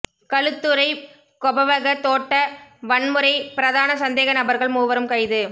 களுத்துறை கொபவக தோட்ட வன்முறை பிரதான சந்தேக நபர்கள் மூவரும் கைது